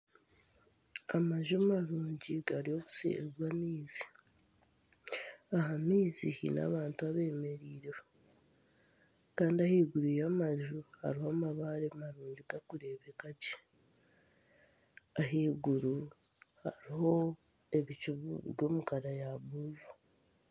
Amaju marungi gari obuseeri bw'amaizi, aha maizi haine abantu abeemereireho kandi ahaiguru y'amaju hariho amabare marungi garikureebeka gye ahaiguru hariho ebicu biri omu kara ya buru